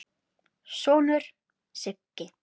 sonur, Siggi.